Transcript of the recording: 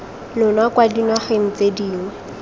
lona kwa dinageng tse dingwe